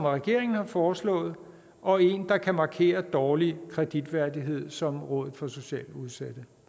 regeringen har foreslået og en der kan markere dårlig kreditværdighed som rådet for socialt udsatte